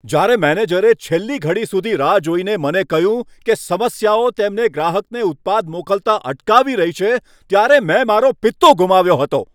જ્યારે મેનેજરે છેલ્લી ઘડી સુધી રાહ જોઈને મને કહ્યું કે સમસ્યાઓ તેમને ગ્રાહકને ઉત્પાદ મોકલતા અટકાવી રહી છે, ત્યારે મેં મારો પિત્તો ગુમાવ્યો હતો.